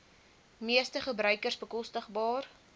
meeste gebruikers bekostigbaar